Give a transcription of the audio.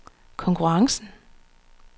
konkurrencen